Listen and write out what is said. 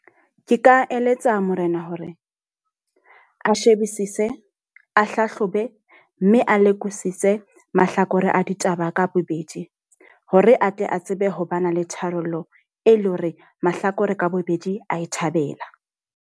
Ke ka eletsa Morena hore a shebisise, a hlahlobe, mme a lekodisise mahlakore a ditaba ka bobedi. Hore atle a tsebe ho ba na le tharollo e leng hore mahlakore ka bobedi a e thabela.